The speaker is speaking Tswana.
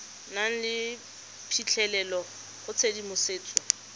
nang le phitlhelelo go tshedimosetso